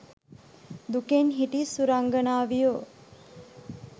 දුකෙන් හිටි සුරංගනාවියො